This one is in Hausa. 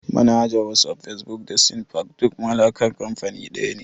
Manhajar wasaf, fesbuk da sinafcat duk mallakar kanfani daya ne